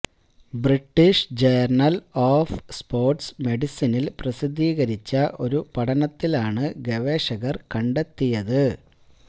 British journal of sports മെഡിസിനിൽ പ്രസിദ്ധീകരിച്ച ഒരു പഠനത്തിലാണ് ഗവേഷകർ കണ്ടെത്തിയത്